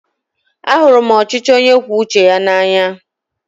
Ahụrụ m ọchịchị onye kwue uche ya n'anya.